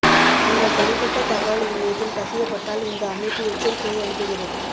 உங்கள் தனிப்பட்ட தகவல் இணையத்தில் கசியப்பட்டால் இந்த அமைப்பு எச்சரிக்கையை அனுப்புகிறது